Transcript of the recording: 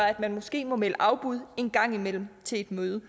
at man måske må melde afbud en gang imellem til møde